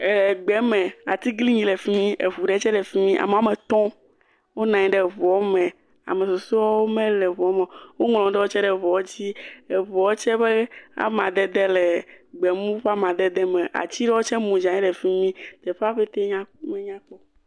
Egbe me atiglinyi le fi mi, eŋu ɖe tsɛ le fi mi, ame woame etɔ̃ wonɔ anyi ɖe ŋuɔ me, ame susɔewo mele ŋuɔ me o, woŋlɔ nu ɖewo tsɛ ɖe ŋuɔwo dzi, eŋuɔ tsɛ ƒe amadede le gbemu ƒe amadede me, ati ɖewo tsɛ mu dze anyi fi mi, teƒea ƒetee nya menyakpɔ.